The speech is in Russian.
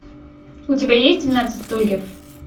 у тебя есть двенадцать стульев